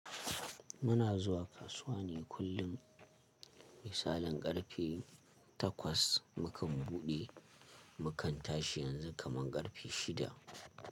Muna zuwa kasuwa ne kullum, misalin ƙarfe takwai mu kan buɗe, mu kan tashi yanzu kaman ƙarfe shida.